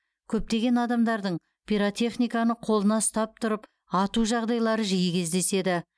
көптеген адамдардың пиротехниканы қолына ұстап тұрып ату жағдайлары жиі кездеседі